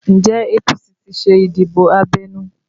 Njẹ́ APC ti ṣe ìdìbò abẹ́nú?